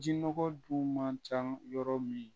Jin nɔgɔ dun man ca yɔrɔ min